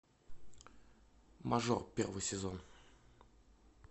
мажор первый сезон